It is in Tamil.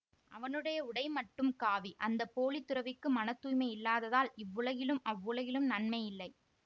அவனுடைய உடை மட்டும் காவி அந்த போலித்துறவிக்கு மன தூய்மை இல்லாததால் இவ்வுலகிலும் அவ்வுலகிலும் நன்மை இல்லை